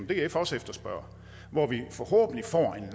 df også efterspørger og hvor vi forhåbentlig får en